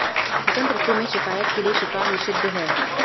वसंत ऋतु में शिकायत के लिए शिकार निषिद्ध है